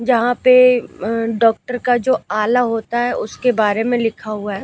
जहां पे अ डॉक्टर का जो आला होता है उसके बारे में लिखा हुआ है।